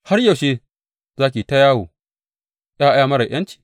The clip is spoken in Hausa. Har yaushe za ki yi ta yawo, Ya ’ya marar aminci?